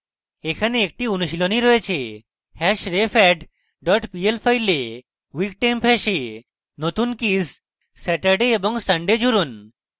এখানে একটি অনুশীলনী রয়েছে hashrefadd dot pl file weektemp hash নতুন কীস saturday এবং sunday জুড়ুন